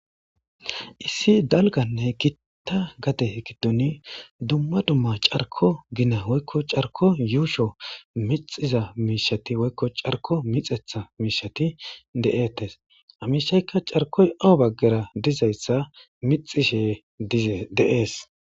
Issi dalgganne gita gade giddon dumma dumma carkko gina woykko carkko yuusho mixxiza miishsheti woykko carkko mixeththa miishshati de'etes ha miishshaykka carkkoy awa baggara dizayssa miixxishe dize de'es.